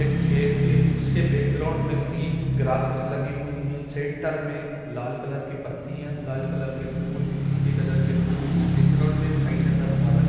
एक खेत है इसके बैकग्राउंड में ग्रीन ग्रसेस लगी हुई है सेन्टर में लाल कलर की पत्तिया लाल कलर के फूल पीले कलर के फूल बैकग्राउंड में खाई नजर आ रही।